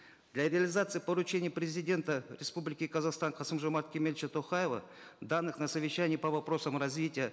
для реализации поручений президента республики казахстан касым жомарта кемелевича токаева данных на совещании по вопросам развития